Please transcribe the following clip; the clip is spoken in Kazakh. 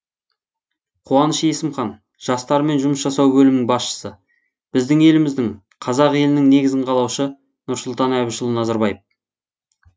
қуаныш есімхан жастармен жұмыс жасау бөлімінің басшысы біздің еліміздің қазақ елінің негізін қалаушы нұрсұлтан әбішұлы назарбаев